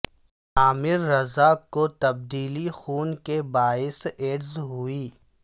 عامر رضا کو تبدیلی خون کے باعث ایڈز ہوئی